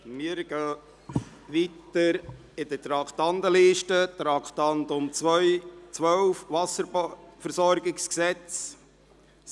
Wir gehen weiter in der Traktandenliste: Traktandum 12, Wasserversorgungsgesetz (WVG).